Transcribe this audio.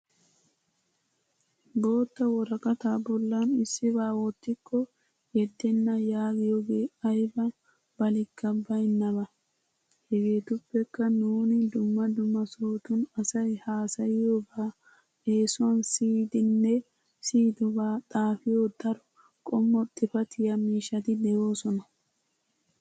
Bottaa worqqata bollan issiba wottikko yeddena yaggiyoge aybba baalikka baynnaba. Hegetuppekka nuuni dumma dumma sohottun asay hassayiyooba essuwan siyiddenne siyiddoba xaafiyoo daro qommo xiffatiya miishshati de'oosona.